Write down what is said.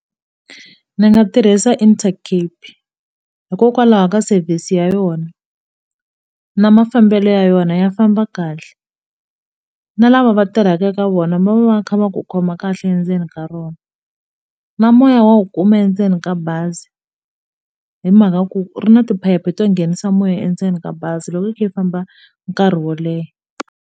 Ndzi nga tirhisa Intercape hikokwalaho ka service ya yona na mafambelo ya yona ya famba kahle na lava va tirhaka eka vona va va va kha va ku khoma kahle endzeni ka rona na moya wa wu kuma endzeni ka bazi hi mhaka ku ri na tiphayiphi to nghenisa moya endzeni ka bazi loko i kha i famba nkarhi wo leha.